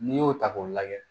N'i y'o ta k'o lajɛ